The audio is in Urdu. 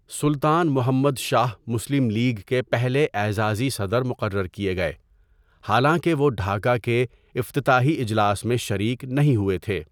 سلطان محمد شاہ مسلم لیگ کے پہلے اعزازی صدر مقرر کیے گئے، حالانکہ وہ ڈھاکہ کے افتتاحی اجلاس میں شریک نہیں ہوئے تھے۔